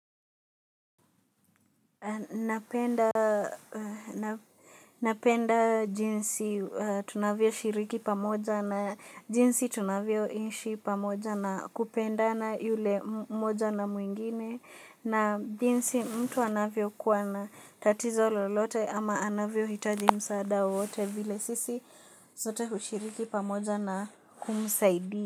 Napenda jinsi tunavyo shiriki pamoja na jinsi tunavyoishi pamoja na kupendana yule moja na mwingine na jinsi mtu anavyo kuwa na tatizo lolote, ama anavyohitaji msaada wowote, vile sisi, sote hushiriki pamoja na kumsaidia.